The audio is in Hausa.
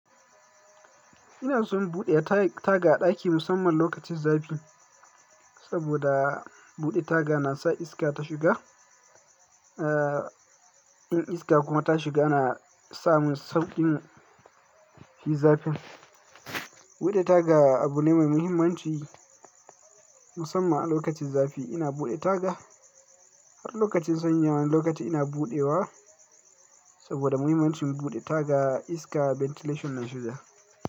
Ina son buɗe tag-taga a ɗaki musamman lokacin zafi, saboda buɗe taga na sa iska ta shiga. Ah, in iska kuma ta shiga ana sa mun sauƙi mu fi zafi. Buɗe taga abu ne mai muhimmanci musammana lokacin zafi. Ina buɗe taga har lokacin sanyi, wani lokaci ina buɗewa saboda muhimmancin buɗe taga iska ventilation na shiga.